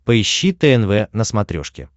поищи тнв на смотрешке